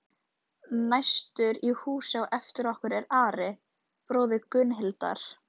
Næstur í hús á eftir okkur er Ari, bróðir Gunnhildar.